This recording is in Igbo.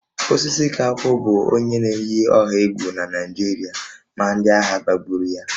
Osisikankwu bụ onye na-eyi ọha egwu na Naịjirịa ma ndị agha gbagburu ya